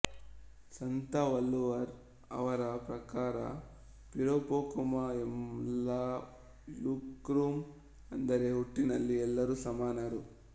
ಸಂತ ವಲ್ಲುವರ್ ಅವರ ಪ್ರಕಾರ ಪಿರಾಪೊಕ್ಕುಮ್ ಎಲ್ಲಾ ಉಯಿರ್ಕುಮ್ ಅಂದರೆ ಹುಟ್ಟಿನಲ್ಲಿ ಎಲ್ಲರೂ ಸಮಾನರು